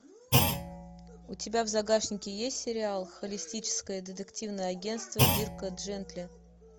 у тебя в загашнике есть сериал холистическое детективное агенство дирка джентли